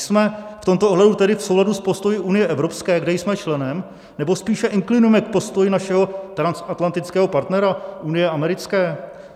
Jsme v tomto ohledu tedy v souladu s postoji unie evropské, které jsme členem, nebo spíše inklinujeme k postoji našeho transatlantického partnera, unie americké?